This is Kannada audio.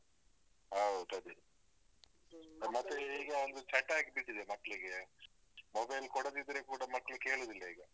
ಹೌದ್ ಅದೇ. ಮತ್ತೆ ಈಗ ಒಂದು ಚಟ ಆಗ್ಬಿಟ್ಟಿದೆ ಮಕ್ಳಿಗೆ. mobile ಕೊಡದಿದ್ರೆ ಕೂಡ ಮಕ್ಳು ಕೇಳುದಿಲ್ಲ ಈಗ.